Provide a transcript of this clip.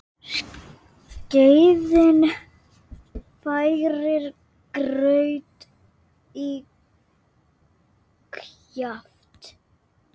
Skeiðin færir graut í kjaft.